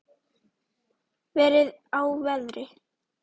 Verið á verði.